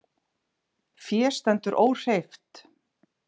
Fé stendur óhreyft